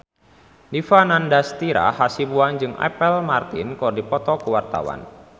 Dipa Nandastyra Hasibuan jeung Apple Martin keur dipoto ku wartawan